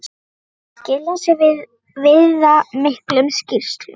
Þeir þurftu að skila af sér viðamiklum skýrslum.